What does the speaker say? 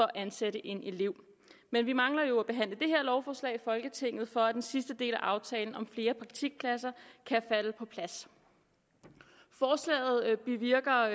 at ansætte en elev men vi mangler at behandle det her lovforslag i folketinget for at den sidste del af aftalen om flere praktikpladser kan falde på plads forslaget bevirker